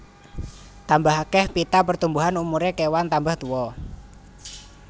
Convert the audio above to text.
Tambah akeh pita pertumbuhan umuré kewan tambah tuwa